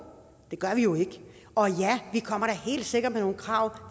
det gør vi jo ikke og ja vi kommer da helt sikkert med nogle krav